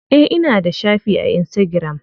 Eh ina da shafi a insitagiram.